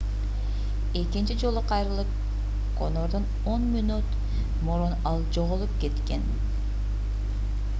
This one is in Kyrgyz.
экинчи жолу кайрылып конордон 10 мүнөт мурун ал жоголуп кеткен